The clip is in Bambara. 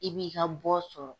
I b'i ka bɔ sɔrɔ.